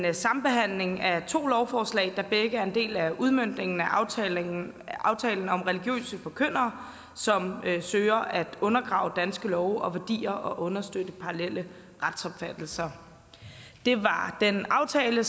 en sambehandling af to lovforslag der begge er en del af udmøntningen af aftalen aftalen om religiøse forkyndere som søger at undergrave danske love og værdier og understøtte parallelle retsopfattelser det er den aftale